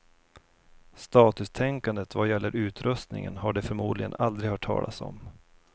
Statustänkandet vad gäller utrustningen har de förmodligen aldrig hört talas om.